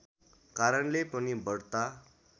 कारणले पनि बढ्ता